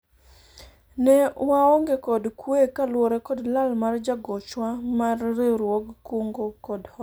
ne waonge kod kwe kaluwore kod lal mar jagochwa mar riwruog kungo kod hola